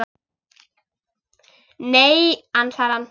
Nei, ansar hann.